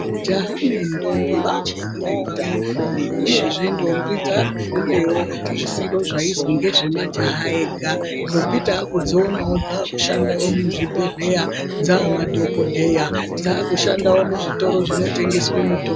Jaha nendombi vaakufunde pamwepo uyezve ndombi dzaakufundewo zvifundo zvaizwi ngezvemajaha ega. Ndombi taakudzionawo dzaakushandawo muzvibhehleya, dzaamadhogodheya, dzaakushandawo muzvitoro zvinotengeswe mitombo.